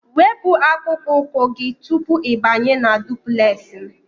Wepu akpụkpọ ụkwụ gị tupu ịbanye na duplex m!